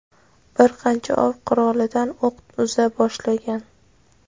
bir qancha ov qurolidan o‘q uza boshlagan.